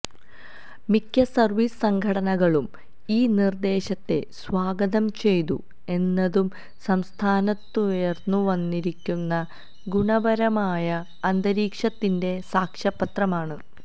മിക്ക സര്വ്വീസ് സംഘടനകളും ഈ നിര്ദ്ദേശത്തെ സ്വാഗതം ചെയ്തു എന്നതും സംസ്ഥാനത്തുയര്ന്നുവന്നിരിക്കുന്ന ഗുണപരമായ അന്തരീക്ഷത്തിന്റെ സാക്ഷ്യപത്രമാണ്